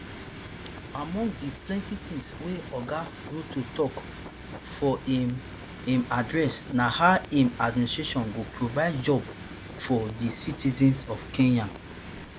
among di plenti tins wey oga ruto tok for im im address na how im administration don provide job for di citizens of kenya